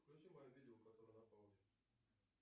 включи мое видео которое на паузе